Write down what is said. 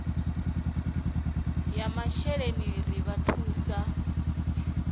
ya masheleni ri vha thusa